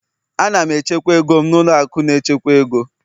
Ana m echekwa ego m na ụlọ akụ na-echekwa ego